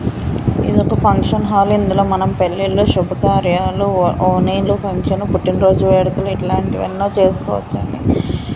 ఇదొక function hall . ఇందులో మనం పెళ్ళిళ్ళు శుభకార్యాలు ఓణీల ఫంక్షన్ పుట్టినరోజు వేడుకలు ఇలాంటివి ఎన్నో చేసుకోవచ్చండి.